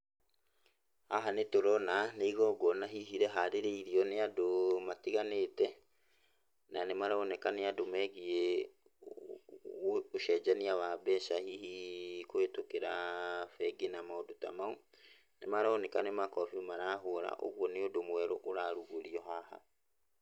Haha nĩ tũrona nĩ igongona hihi rĩharĩrĩirio nĩ andũ matiganĩte, na nĩmaroneka nĩ andũ megiĩ ũcenjania wa mbeca hihi kũhetũkĩra bengi na maũndũ ta mau. Nĩmaroneka nĩ makobi marahũra, ũguo nĩ ũndũ mwerũ ũrarugũrio haha.